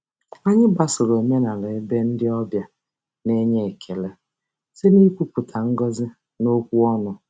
Anyị gbasoro omenala ebe ndị ọbịa na-enye ekele site n'ikwupụta ngọzi n'okwu ọnụ.